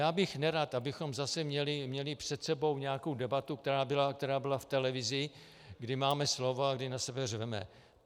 Já bych nerad, abychom zase měli před sebou nějakou debatu, která byla v televizi, kdy máme slovo a kdy na sebe řveme.